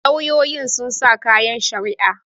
lauyoyi sun sa kayan shari'a